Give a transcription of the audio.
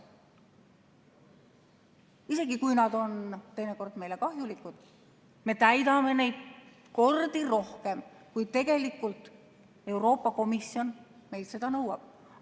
Isegi kui nad on teinekord meile kahjulikud, me täidame neid mitu korda rohkem, kui tegelikult Euroopa Komisjon meilt seda nõuab.